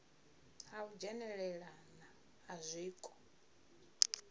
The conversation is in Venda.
ha u dzhenelelana ha zwiko